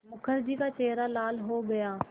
मुखर्जी का चेहरा लाल हो गया